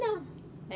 Não.